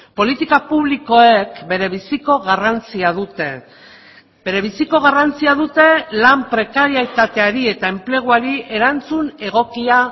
politika publikoek berebiziko garrantzia dute berebiziko garrantzia dute lan prekaritateari eta enpleguari erantzun egokia